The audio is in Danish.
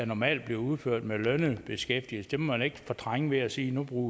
normalt bliver udført af lønnede beskæftigede dem må man ikke fortrænge ved at sige at nu bruger